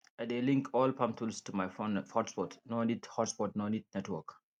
i dey link all farm tools to my fon hotspotno need hotspotno need network